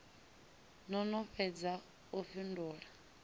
no no fhedza u fhindula